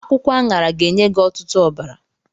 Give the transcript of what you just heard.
Akwụkwọ aṅara ga-enye gị ọtụtụ ọbara.